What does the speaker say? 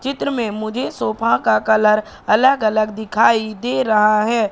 चित्र में मुझे सोफा का कलर अलग अलग दिखाई दे रहा है।